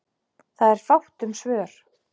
Það er fátt um svör.